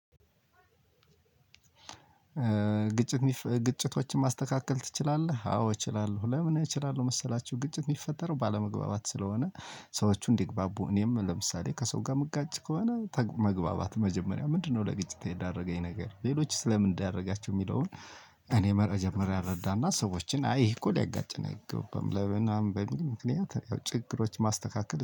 ግጭት ግጭቶችን ማስተካከል ትችላለህ? አዎ እችላለሁ ለምን እችላለሁ መሰላችሁ። ግጭት የሚፈጠረው ባለመግባባት ስለሆነ ሰዎቹ እንዲግባቡ እኔም ለምሳሌ ከሰው ጋር የምጋጭ ከሆነ መግባባት መጀመሪያ ምንድነው ለግጭት የዳረገኝ ነገር ሌሎችስ ለምን ዳረጋቸው የሚለውን። እኔ በመጀመሪያ እረዳና ሰዎችን አይ ይሄ እኮ ሊያጋጨን አይገባም ለምናምን በሚል ምክንያት ያው ችግሮች ማስተካከል